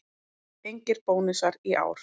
Engir bónusar í ár